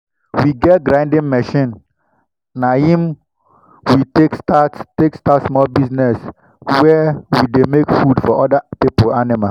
we get grinding machine. na him we take start take start small business where we dey make food for other people animal.